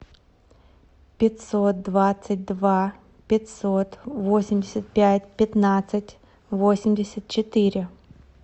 пятьсот двадцать два пятьсот восемьдесят пять пятнадцать восемьдесят четыре